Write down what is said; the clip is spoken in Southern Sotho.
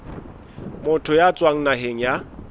motho ya tswang naheng ya